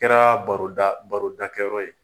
O kɛra baroda barodakɛ yɔrɔ ye .